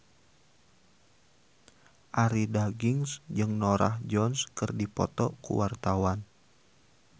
Arie Daginks jeung Norah Jones keur dipoto ku wartawan